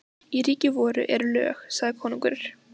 Í ríki voru eru lög, sagði konungur.